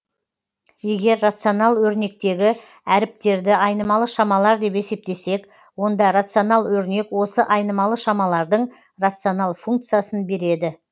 егер рационал өрнектегі әріптерді айнымалы шамалар деп есептесек онда рационал өрнек осы айнымалы шамалардың рационал функциясын береді